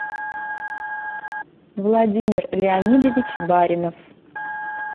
владимир леонидович баринов